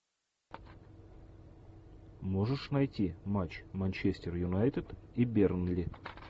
можешь найти матч манчестер юнайтед и бернли